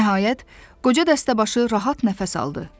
Nəhayət, qoca dəstəbaşı rahat nəfəs aldı.